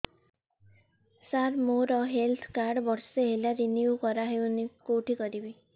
ସାର ମୋର health card ବର୍ଷେ ହେଲା ରିନିଓ କରା ହଉନି କଉଠି କରିବି